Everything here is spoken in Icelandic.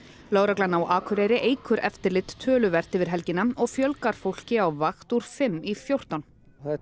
lögreglan á Akureyri eykur eftirlit töluvert yfir helgina og fjölgar fólki á vakt úr fimm í fjórtán þetta